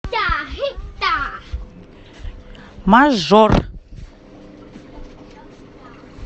мажор